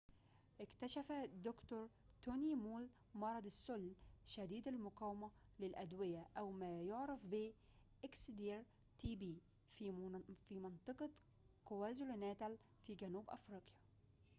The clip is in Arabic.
اكتشفَ د. توني مول مرضَ السّل شديد المقاومةِ للأدويةِ أو ما بعرف ب xdr-tb في منطقةِ كوازولوناتال في جنوب إفريقيا